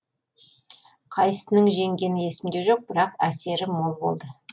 қайсысының жеңгені есімде жоқ бірақ әсері мол болды